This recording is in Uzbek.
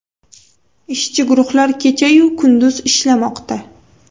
Ishchi guruhlar kecha-yu kunduz ishlamoqda.